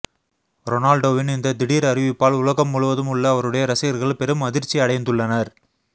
ரொனால்டோவின் இந்த திடீர் அறிவிப்பால் உலகம் முழுவதும் உள்ள அவருடைய ரசிகர்கள் பெரும் அதிர்ச்சியடைந்துள்ளனர்